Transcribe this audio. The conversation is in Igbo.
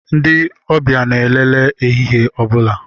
Ndị ọbịa na-elele ehihie ọ bụla.